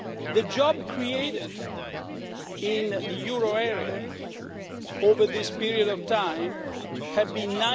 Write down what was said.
The jobs created in the euro area over this period of time have been